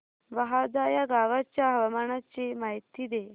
बहादा या गावाच्या हवामानाची माहिती दे